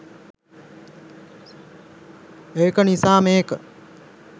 ඒක නිසා මේක